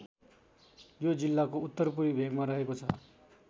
यो जिल्लाको उत्तर पूर्वी भेकमा रेहको छ।